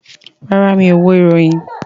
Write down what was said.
Rárá, mi ò wo ìròyìn